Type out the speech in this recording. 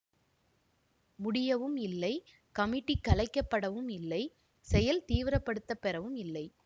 முடியவும் இல்லை கமிட்டி கலைக்கப்படவும் இல்லை செயல் தீவிரப்படுத்தப் பெறவும் இல்லை